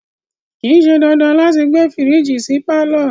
Kìí ṣe dandan láti gbé fírìjì sí pàlọ́